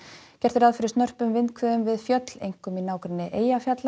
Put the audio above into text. gert er ráð fyrir snörpum vindhviðum við fjöll einkum í nágrenni Eyjafjalla